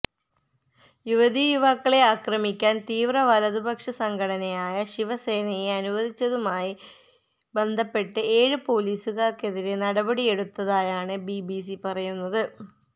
യുവതീയുവാക്കളെ ആക്രമിക്കാന് തീവ്ര വലതുപക്ഷ സംഘടനയായ ശിവസേനയെ അനുവദിച്ചതുമായി ബന്ധപ്പെട്ട് ഏഴ് പൊലീസുകാര്ക്കെതിരെ നടപടിയെടുത്തതായാണ് ബിബിസി പറയുന്നത്